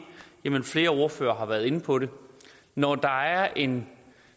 jamen flere ordførere har været inde på det når der er en